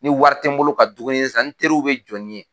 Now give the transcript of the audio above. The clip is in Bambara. Ni wari ti n bolo ka dumui san n teriw bɛ jɔ ni n ye.